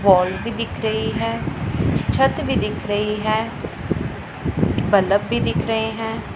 Wall भी दिख रही है छत भी दिख रही है बलब भी दिख रहे हैं।